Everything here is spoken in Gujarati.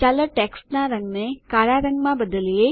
ચાલો ટેક્સ્ટનાં રંગને કાળા રંગમાં બદલીએ